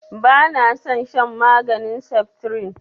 Ba na son shan maganin saftirin